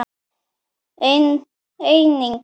en einnig